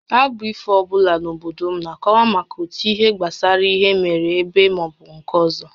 Abụ ifo ọ bụla n’obodo m na-akọwa maka otu ihe gbasara ihe mere eme maọbụ nke ọzọ